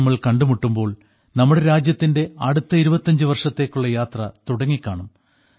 ഇനി നമ്മൾ കണ്ടുമുട്ടുമ്പോൾ നമ്മുടെ രാജ്യത്തിന്റെ അടുത്ത 25 വർഷത്തേക്കുള്ള യാത്ര തുടങ്ങിക്കാണും